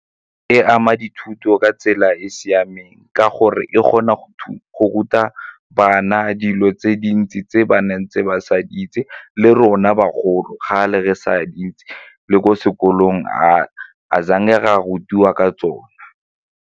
E ama dithuto ka tsela e e siameng ka gore e kgona go ruta bana dilo tse dintsi tse ba neng tse ba sa di itse, le rona bagolo ga a le re sa di itse le ko sekolong a ra rutiwa ka tsone